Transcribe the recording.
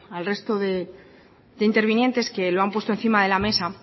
al resto de intervinientes que lo han puesto encima de la mesa